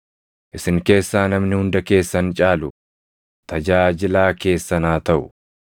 Isin keessaa namni hunda keessan caalu tajaajilaa keessan haa taʼu.